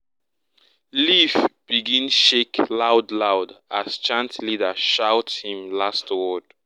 leaf begin shake loud loud as chant leader shout him last word.